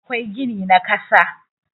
akwai gini na kasa